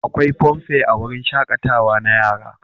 Akwai funfair a wurin shaƙatawa na yara.